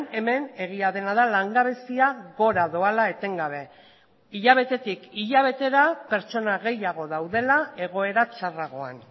hemen egia dena da langabezia gora doala etengabe hilabetetik hilabetera pertsona gehiago daudela egoera txarragoan